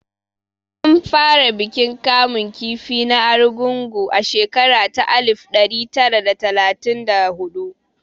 An fara bikin kamun kifi na Argungu a shekara ta alif ɗari tari da talatin da huɗu